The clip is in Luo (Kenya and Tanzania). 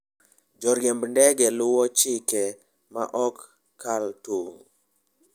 Joriemb ndege luwo chike ma ok kal tong'.